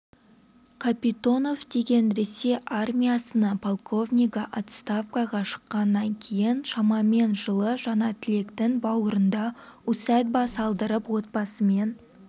капитонов деген ресей армиясының полковнигі отставкаға шыққаннан кейін шамамен жылы жаңатілектің бауырында усадьба салдырып отбасымен